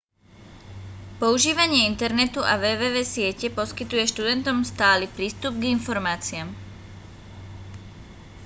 používanie internetu a www siete poskytuje študentom stály prístup k informáciám